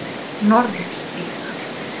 Norðurstíg